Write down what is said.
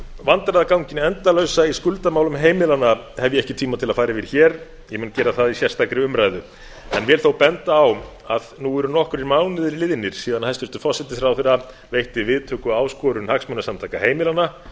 vandræðaganginn endalausa í skuldamálum heimilanna hef ég ekki tíma til að fara yfir hér ég mun gera það í sérstakri umræðu ég vil þó benda á að nú eru nokkrir mánuðir liðnir síðan hæstvirtur forsætisráðherra veitti viðtöku áskorun hagsmunasamtaka heimilanna